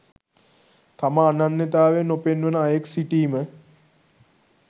තම අනන්‍යතාවය නොපෙන්වන අයෙක් සිටීම